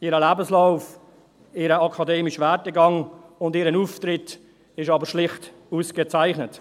Ihr Lebenslauf, ihr akademischer Werdegang und ihr Auftritt sind aber schlicht ausgezeichnet.